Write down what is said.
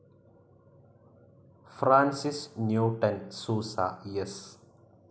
Francis Newton Souza, S.